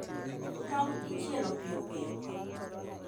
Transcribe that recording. Tong' ichielo piyopiyo